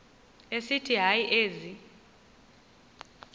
esithi hayi ezi